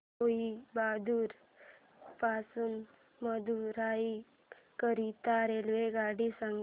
कोइंबतूर पासून मदुराई करीता रेल्वेगाडी सांगा